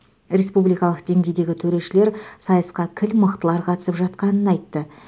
республикалық деңгейдегі төрешілер сайысқа кіл мықтылар қатысып жатқанын айтты